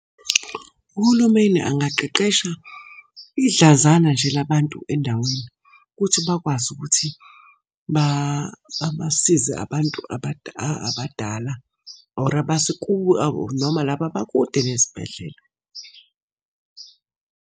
Uhulumeni angaqeqesha idlanzana nje la bantu endaweni, ukuthi bakwazi ukuthi babasize abantu abadala or noma laba abakude nezibhedlela.